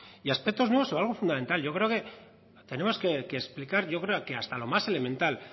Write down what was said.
aspectos nuevos o algo fundamental yo creo que tenemos que explicar hasta lo más elemental